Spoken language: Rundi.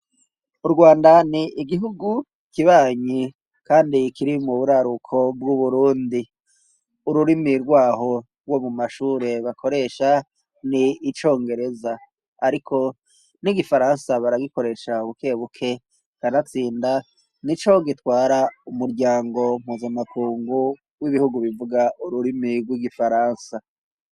Urwanda ni igihugu kibanyi kandi ikiri mu buraruko bw'uburundi ururimi rwaho wo mu mashure bakoresha ni icongereza, ariko n'igifaransa baragikoresha buke buke kanatsinda nico gitwara umuryango mpuzamakungu w'ibihugu bivuga ururimi rw'igifaransa.